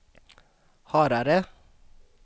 Harare